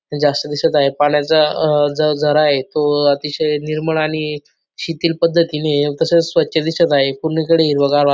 जास्त दिसत आहे पाण्याचा अ जो झरा आहे तो अतिशय निर्मळ आणि शिथिल पद्धतीने तसेच स्वच्छ दिसत आहे पूर्णि कडे हिरवेगार वाता--